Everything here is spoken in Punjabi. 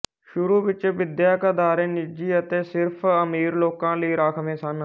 ਸ਼ੁਰੂ ਵਿੱਚ ਵਿਦਿਅਕ ਅਦਾਰੇ ਨਿੱਜੀ ਅਤੇ ਸਿਰਫ ਅਮੀਰ ਲੋਕਾਂ ਲਈ ਰਾਖਵੇਂ ਸਨ